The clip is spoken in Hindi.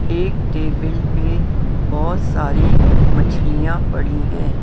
एक टेबल पे बहुत सारी मछलियां पड़ी हैं ।